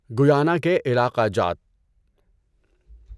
Guyana کے علاقه جات